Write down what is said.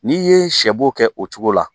N'i ye sɛ bo kɛ o cogo la